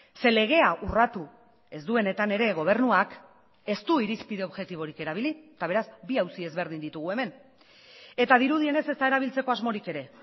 ze legea urratu ez duenetan ere gobernuak ez du irizpide objektiborik erabili eta beraz bi auzi ezberdin ditugu hemen eta dirudienez ezta erabiltzeko asmorik ere